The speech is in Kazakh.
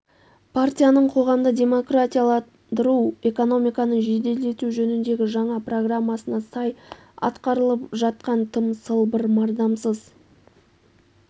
партияның қоғамды демократияландыру экономиканы жеделдету жөніндегі жаңа программасына сай атқарылып жатқан тым сылбыр мардымсыз